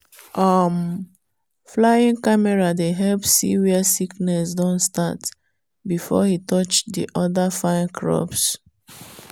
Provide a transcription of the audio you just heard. um flying camera dey help see where sickness don start before e touch the other fine crops.